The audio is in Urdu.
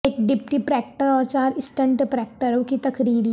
ایک ڈپٹی پراکٹر اور چار اسسٹنٹ پراکٹروں کی تقرری